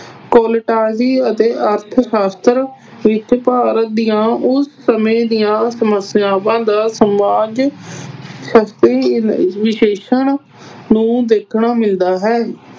ਅਤੇ ਅਰਥ-ਸ਼ਾਸਤਰ ਵਿੱਚ ਭਾਰਤ ਦੀਆਂ ਉਸ ਸਮੇਂ ਦੀਆਂ ਸਮੱਸਿਆਵਾਂ ਦਾ ਸਮਾਜ ਵਿਸ਼ੇਸ਼ਣ ਨੂੰ ਦੇਖਣਾ ਮਿਲਦਾ ਹੈ।